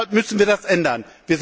Deshalb müssen wir das ändern.